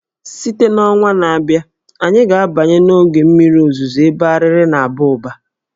Site na ọnwa na-abịa, anyị ga-abanye n'oge mmiri ozuzo ebe Arịrị ga-aba ụba